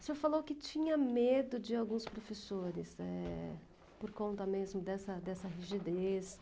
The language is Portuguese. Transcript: O senhor falou que tinha medo de alguns professores, eh, por conta mesmo dessa dessa rigidez.